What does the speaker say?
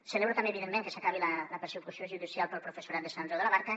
celebro també evidentment que s’acabi la persecució judicial per al professorat de sant andreu de la barca